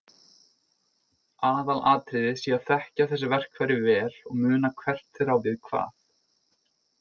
Aðalatriðið sé að þekkja þessi verkfæri vel og muna hvert þeirra á við hvað.